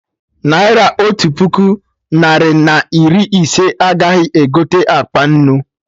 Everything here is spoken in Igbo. Naira Otu puku, narị na iri ise, agaghị egote akpa nnu